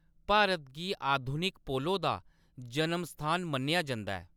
भारत गी अधुनिक पोलो दा जन्मस्थान मन्नेआ जंदा ऐ।